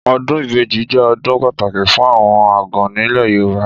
Ọ̀dún ìbẹjí jẹ ọ̀dún pàtàkí fún àwon àgàn nile yorùbá.